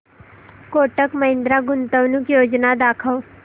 कोटक महिंद्रा गुंतवणूक योजना दाखव